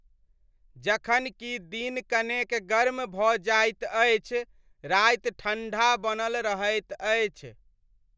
जखन कि दिन कनेक गर्म भऽ जाइत अछि, राति ठण्ढा बनल रहैत अछि।